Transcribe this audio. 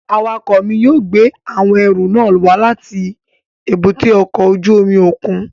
Awakọ mi yóò gbe awọn ẹru nàa wa lati èbúté ọkọ ojú omi okun